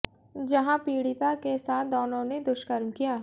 जहाँ पीड़िता के साथ दोनों ने दुष्कर्म किया